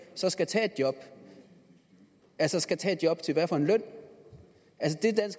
så skal tage et job altså skal tage et job til hvad for en løn